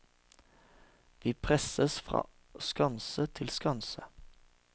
Vi presses fra skanse til skanse.